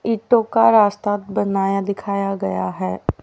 ईटों का रास्ता बनाया दिखाया गया है।